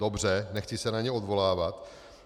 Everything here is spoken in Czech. Dobře, nechci se na ně odvolávat.